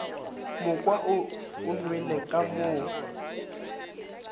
moka o nwelele ka mo